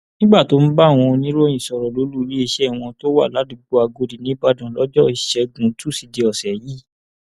nígbà tó ń bá àwọn oníròyìn sọrọ lólu iléeṣẹ wọn tó wà ládùúgbò agòdì níìbàdàn lọjọ ìṣẹgun túṣídéé ọsẹ yìí